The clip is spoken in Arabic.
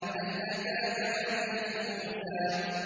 هَلْ أَتَاكَ حَدِيثُ مُوسَىٰ